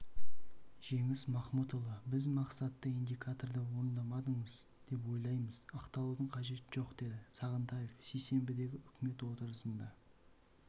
жеңіс махмұтұлы біз мақсатты индикаторды орындамадыңыз деп ойлаймыз ақталудың қажеті жоқ деді сағынтаев сейсенбідегі үкімет отырысында